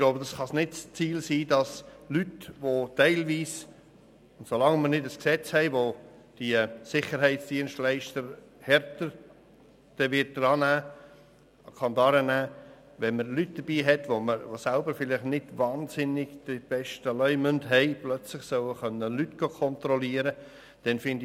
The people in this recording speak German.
Ich glaube, solange wir kein Gesetz haben, welches diese Sicherheitsdienstleister härter an die Kandare nimmt, kann es nicht das Ziel sein, dass Leute, die vielleicht teilweise selber nicht den besten Leumund haben, plötzlich andere kontrollieren können.